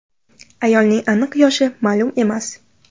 Ayolning aniq yoshi ma’lum emas.